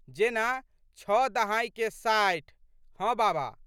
जेना छओ दहाइके साठि। हँ बाबा।